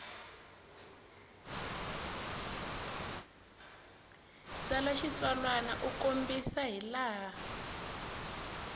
tsala xitsalwana u kombisa hilaha